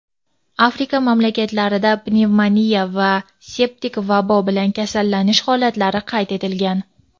Afrika mamlakatida pnevmoniya va septik vabo bilan kasallanish holatlari qayd etilgan.